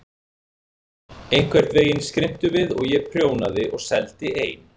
Einhvern veginn skrimtum við og ég prjónaði og seldi ein